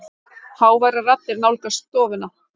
Háværar raddir nálgast stofuna.